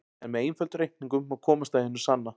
En með einföldum reikningum má komast að hinu sanna.